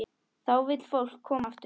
Þá vill fólk koma aftur.